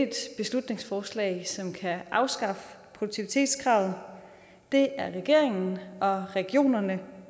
beslutningsforslag som kan afskaffe produktivitetskravet det er regeringen og regionerne